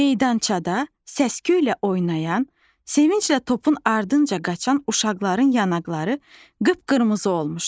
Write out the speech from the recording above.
Meydançada səsküylə oynayan, sevinclə topun ardınca qaçan uşaqların yanaqları qıpqırmızı olmuşdu.